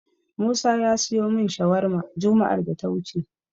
Musa ya siyo min shawarma juma'ar da ta wuce.